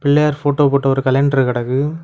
Pillaiyar photo போட்டு ஒரு calendar கடக்கு.